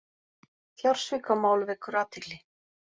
Fjársvikamál vekur athygli